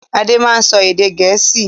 Ade máa ń sọ èdè Gẹ̀ẹ́sì.